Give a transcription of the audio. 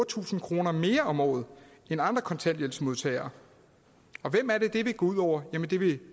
tusind kroner mere om året end andre kontanthjælpsmodtagere og hvem er det det vil gå ud over det vil